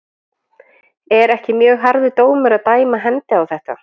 Er ekki mjög harður dómur að dæma hendi á þetta?